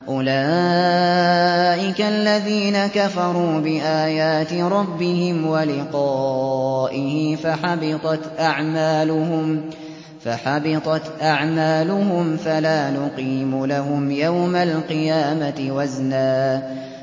أُولَٰئِكَ الَّذِينَ كَفَرُوا بِآيَاتِ رَبِّهِمْ وَلِقَائِهِ فَحَبِطَتْ أَعْمَالُهُمْ فَلَا نُقِيمُ لَهُمْ يَوْمَ الْقِيَامَةِ وَزْنًا